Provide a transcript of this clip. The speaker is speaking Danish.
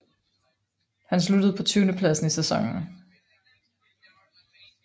Han sluttede på tyvendepladsen i sæsonen